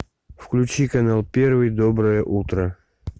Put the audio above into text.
включи канал первый доброе утро